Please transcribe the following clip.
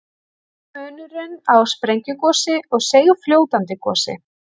Hver er munurinn á sprengigosi og seigfljótandi gosi?